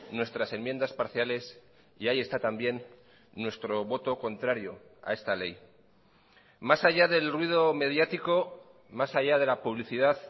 nuestras enmiendas parciales y ahí está también nuestro voto contrario a esta ley más allá del ruido mediático más allá de la publicidad